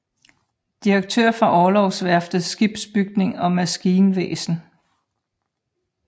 Direktør for Orlogsværftets skibsbygning og maskinvæsen